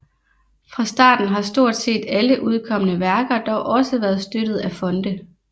Fra starten har stort set alle udkomne værker dog også været støttet af fonde